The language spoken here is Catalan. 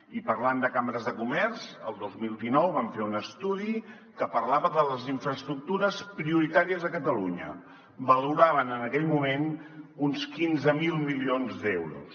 i parlant de cambres de comerç el dos mil dinou vam fer un estudi que parlava de les infraestructures prioritàries a catalunya valoraven en aquell moment uns quinze mil milions d’euros